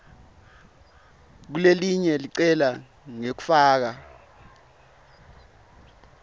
kulelelinye licele ngekufaka